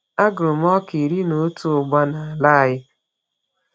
Agụrụ m ọka iri n’otu ugba n’ala anyị.